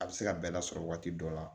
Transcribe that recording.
A bɛ se ka bɛɛ lasɔrɔ waati dɔ la